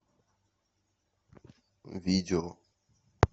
видео